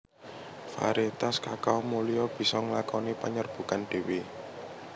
Variétas kakao mulia bisa nglakoni panyerbukan dhéwé